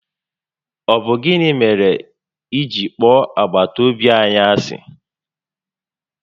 Ọ bụ gịnị mèrè ị ji kpọọ agbataobi anyị ási?